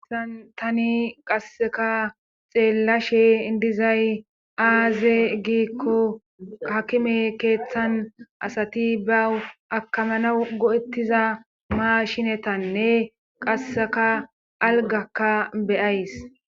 Hayssani qasseka xeellashe dizay aaze giikko hakime keeththan asati bawu akamana go'ettiza maa shinetanne qasseka algakka be'ays